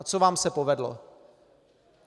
A co vám se povedlo?